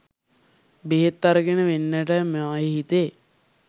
බෙහෙත් අරගෙන වෙන්ටෑ මයෙ හිතේ.